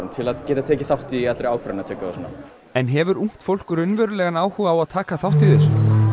til að geta tekið þátt í allri ákvarðanatöku og svona en hefur ungt fólk raunverulegan áhuga á að taka þátt í þessu